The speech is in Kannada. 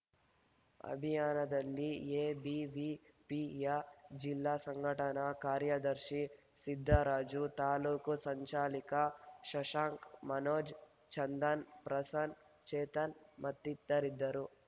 ಅಭಿಯಾನದಲ್ಲಿ ಎಬಿವಿಪಿಯ ಜಿಲ್ಲಾ ಸಂಘಟನಾ ಕಾರ್ಯದರ್ಶಿ ಸಿದ್ದರಾಜು ತಾಲೂಕು ಸಂಚಾಲಿಕ ಶಶಾಂಕ ಮನೋಜ್‌ ಚಂದನ್‌ ಪ್ರಸನ್ನ್ ಚೇತನ್‌ ಮತ್ತಿತರಿದ್ದರು